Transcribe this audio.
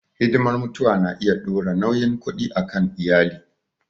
Hidimar mutuwa na iya dora nauyin kuɗi a kan iyali.